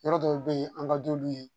Yɔrɔ dɔw bɛ yen an ka d'olu ye